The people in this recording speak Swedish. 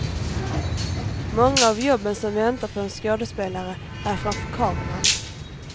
Många av jobben som väntar på en skådespelare är framför kameran.